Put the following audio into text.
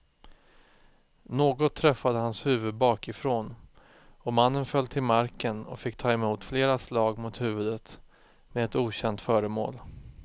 Något träffade hans huvud bakifrån och mannen föll till marken och fick ta emot flera slag mot huvudet med ett okänt föremål.